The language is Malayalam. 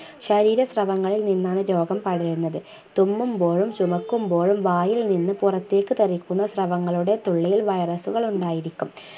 ശരീര സ്രവങ്ങളിൽ നിന്നാണ് രോഗം പടരുന്നത് തുമ്മുമ്പോഴും ചുമയ്ക്കുമ്പോഴും വായിൽ നിന്ന് പുറത്തേക്ക് തെറിക്കുന്ന സ്രവങ്ങളുടെ തുള്ളിയിൽ virus കൾ ഉണ്ടായിരിക്കും